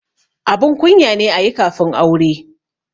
Abun kunya ne ayi kafin aure